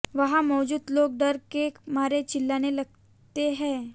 वहां मौजूद लोग डर के मारे चिल्लाने लगते हैं